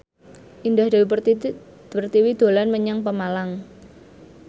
Indah Dewi Pertiwi dolan menyang Pemalang